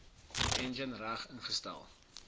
enjin reg ingestel